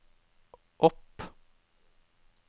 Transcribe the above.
opp